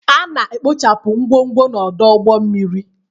A na-ekpochapụ ngwongwo n'ọdụ ụgbọ mmiri